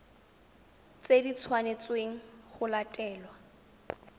tse di tshwanetsweng go latelwa